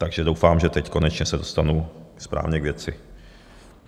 Takže doufám, že teď konečně se dostanu správně k věci.